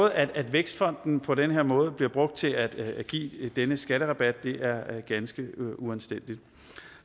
at vækstfonden på den her måde bliver brugt til at give den her skatterabat er ganske uanstændigt